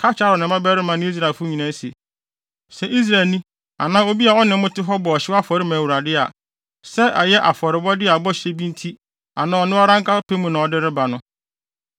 “Ka kyerɛ Aaron ne ne mmabarima ne Israelfo nyinaa se, ‘Sɛ Israelni anaa obi a ɔne mo te bɔ ɔhyew afɔre ma Awurade a, sɛ ɛyɛ afɔrebɔde a ɛyɛ bɔhyɛ bi nti anaa ɔno ara ne pɛ mu na ɔrebɔ no,